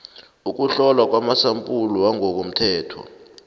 ukuhlolwa kwamasampula wangokomthetho